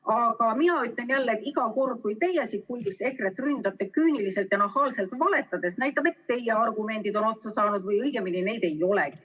Aga mina ütlen jälle, et iga kord, kui teie siit puldist EKRE-t ründate küüniliselt ja nahaalselt valetades, näitab, et teie argumendid on otsa saanud või õigemini neid ei olegi.